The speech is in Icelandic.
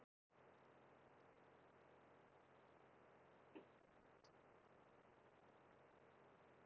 Mummi kom í veg fyrir að ég brenndi þær strax daginn sem ég vaknaði.